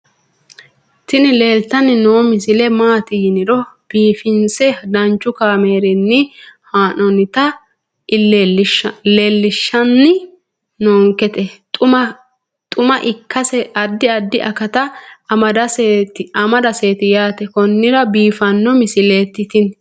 tini leeltanni noo misile maaati yiniro biifinse danchu kaamerinni haa'noonnita leellishshanni nonketi xuma ikkase addi addi akata amadaseeti yaate konnira biiffanno misileeti tini